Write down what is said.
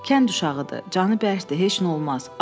Kənd uşağıdır, canı bərkdir, heç nə olmaz.